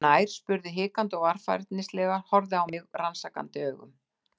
Hann kom nær, spurði hikandi og varfærnislega, horfði á mig rannsakandi augum.